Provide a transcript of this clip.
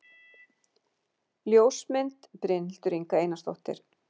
Ljósmynd: Brynhildur Inga Einarsdóttir